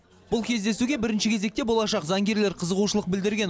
бұл кездесуге бірінші кезекте болашақ заңгерлер қызығушылық білдірген